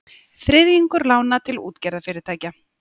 Þriðjungur lána til útgerðarfyrirtækja